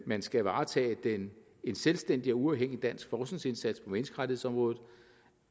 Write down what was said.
man skal varetage en selvstændig og uafhængig dansk forskningsindsats på menneskerettighedsområdet